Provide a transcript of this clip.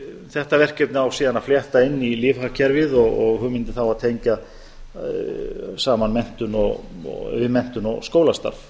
þetta verkefni á síðan að flétta inn í lífhagkerfið og hugmyndin þá að tengja saman við menntun og skólastarf